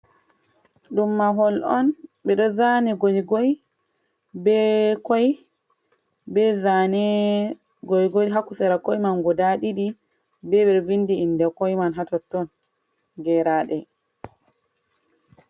Ɗum mahol on, Ɓe ɗo zani goigoi be koi, be zane goigoi ha sera koi man guda ɗiɗi, be ɓedo vindi inde koi man hatotton geraɗe.